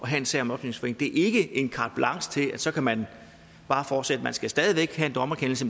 have en sag om opløsning det er ikke en carte blanche til at så kan man bare fortsætte man skal stadig væk have en dommerkendelse